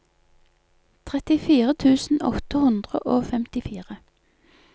trettifire tusen åtte hundre og femtifire